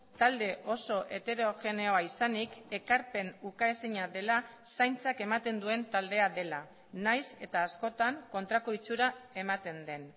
talde oso heterogeneoa izanik ekarpen ukaezina dela zaintzak ematen duen taldea dela nahiz eta askotan kontrako itxura ematen den